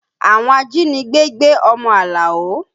Àwọn ajínigbé gbé ọmọ Alao